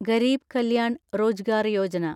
Garib Kalyan Rozgar Yojana